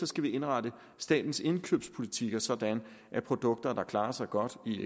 skal vi indrette statens indkøbspolitikker sådan at produkter der eksempelvis klarer sig godt i